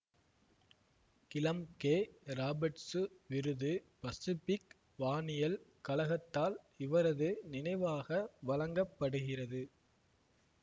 Klumpke Roberts விருது Pacific வானியல் கழகத்தால் இவரது நினைவாக வழங்க படுகிறது